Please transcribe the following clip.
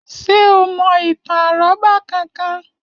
Ṣé o mo ìtàn àrọ́bá kan kan?